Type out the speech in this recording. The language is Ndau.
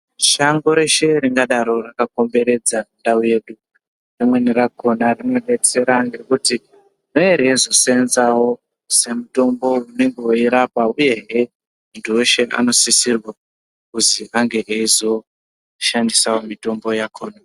Shango reshe ringadai rakakomberedza ndau yedu rimweni rakona rinobetsera ngekuti rerezo senzavo semitombo unenge veirapa, uyehe muntu veshe unosisirwa kuzi ange eizoshandisavo mitombo yakona.